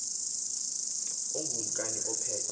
ungu kumkani ophethe